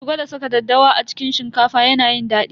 Ki gwada saka daddawa a cikin shinkafa yana yin daɗi.